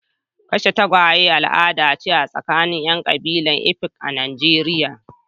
Kashe tagwaye al'ada ce a tsakanin 'yan kabilar Efik a Najeriya.